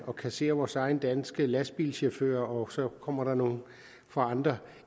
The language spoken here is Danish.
og kassere vores egne danske lastbilchauffører og så kommer der nogle fra andre